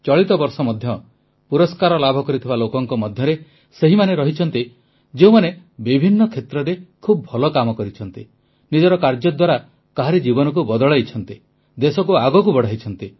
ଚଳିତ ବର୍ଷ ମଧ୍ୟ ପୁରସ୍କାର ଲାଭ କରିଥିବା ଲୋକଙ୍କ ମଧ୍ୟରେ ସେହିମାନେ ରହିଛନ୍ତି ଯେଉଁମାନେ ବିଭିନ୍ନ କ୍ଷେତ୍ରରେ ଖୁବ ଭଲ କାମ କରିଛନ୍ତି ନିଜ କାର୍ଯ୍ୟ ଦ୍ୱାରା କାହାରି ଜୀବନକୁ ବଦଳାଇଛନ୍ତି ଦେଶକୁ ଆଗକୁ ବଢ଼ାଇଛନ୍ତି